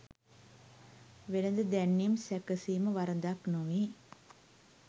වෙළෙඳ දැන්වීම් සැකසීම වරදක් නොවේ.